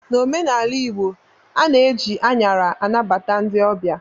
N'omenala igbo, a na-eji anyara anabata ndị ọbịa